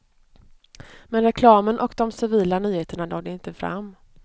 Men reklamen och de civila nyheterna nådde inte fram.